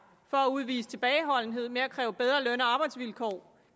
for at udvise tilbageholdenhed med at kræve bedre løn og arbejdsvilkår